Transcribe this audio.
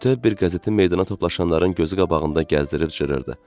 Bütöv bir qəzetin meydana toplaşanların gözü qabağında gəzdirib cırırdı.